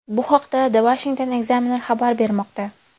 Bu haqda The Washington Examiner xabar bermoqda .